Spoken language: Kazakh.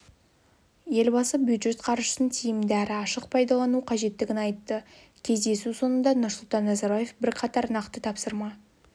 елбасы бюджет қаржысын тиімді әрі ашық пайдалану қажеттігін айтты кездесу соңында нұрсұлтан назарбаев бірқатар нақты тапсырма